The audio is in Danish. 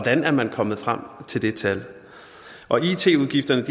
er man kommet frem til det tal it udgifterne